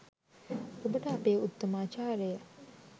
ඔබට අපේ උත්තමාචාරය